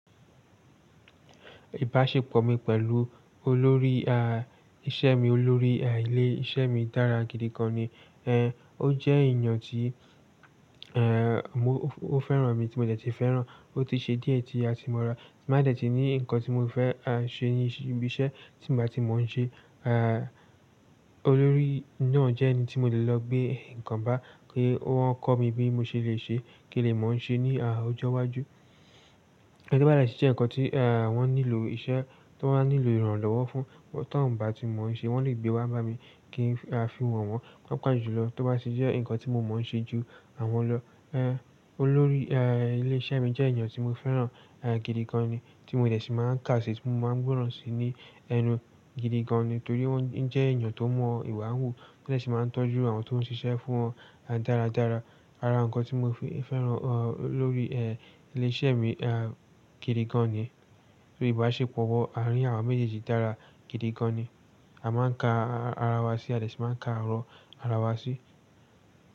Ìbáṣepọ̀ mi pẹ̀lú olórí, ah, iṣẹ́ mi, olórí, ah, ilé iṣẹ́ mi dára gidi gan ni. Ehn, ó jẹ́ èèyàn tí, ehn, mo-- ó fẹ́ràn mi tí mo dẹ̀ tí fẹ́ràn. Ó ti ṣe díẹ̀ tí a ti mọ ra, tí n ba dẹ̀ tí ní nǹkan tí mo fẹ́, aṣe ibi iṣẹ́ tí ì n bá ti mọ ń ṣe. Ah, olórí náà jẹ́ ẹni tí mo lè lọ gbé nǹkan bá kí wọ́n kọ́ mi bí mo ṣe lè ṣe kí lè mọ ń ṣe ní, ah, ọjọ́ iwájú. Ẹní bá dẹ ṣe ǹkan tí, ah, wọ́n nílò, iṣẹ́ tó nílò ìrànlọ́wọ́ fún, tó ń bà tí mo ń ṣe wọ́n le gbé wá bá mi kín ki a fi wọ̀n wọ́n, wọ́n paapa jùlọ. Tó bá tì jẹ́ ǹkan tí mo mọ ń ṣe ju àwọn lọ. Ehn, olórí, ah, ilé iṣẹ́ mi jẹ́ èèyàn tí mo fẹ́ràn, ah, gidi gan ni tí mo dẹ̀ tí máa ń kà á sí, tí mo máa ń gbọ́ràn sí ní ẹnu gidi gan ni. Nítorí wọ́n jẹ́ èèyàn tó mọ̀ ìwà hù, tó dẹ̀ ṣí máa ń tọ́jú àwọn tó ń ṣiṣẹ́ fún wọn, ah, dáradára. Ara ǹkan tí mo fẹ́ràn, ah, olórí, eh, ilé iṣẹ́ mi, ah, gidi gan ni. Torí ìbáṣepọ̀ wa àárín àwa méjèèjì dára gidi gan ni. A máa ń ka ara wa sí, a dẹ̀ ṣí máa ń ka ọ̀rọ̀ ara wa sí.